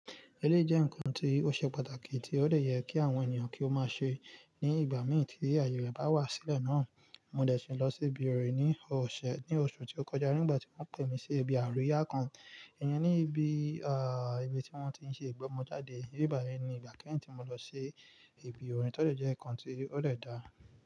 Eleyi jẹ́ ǹkan tí ó ṣe pàtàkì tí ó dè yẹ kí àwọn ènìyàn kí ó má ṣe ní ìgbà mì tí ààyè rẹ̀ bá wà sílẹ̀ náà. Mo dẹ̀ si lọ sí ibi orin ní ọ̀sẹ̀, ní oṣù tí ó kọjá nígbà tí wọ́n pè mí sí ibi àríyá kan. Ìyẹn ní ibi, à, ibi tí wọ́n ti ń ṣe ìgbọ́mọjáde. Íbi bayi ni ìgbà kẹ́yin tí mo lọ ṣi ibi orin. Tóde jẹ́ ǹkan tí ó dè dáa.